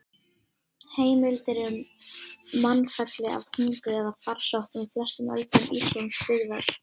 Heimildir eru um mannfelli af hungri eða farsóttum á flestum öldum Íslandsbyggðar.